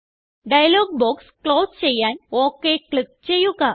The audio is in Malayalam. ഡയലോഗ് ബോക്സ് ക്ലോസ് ചെയ്യാൻ ഒക് ക്ലിക്ക് ചെയ്യുക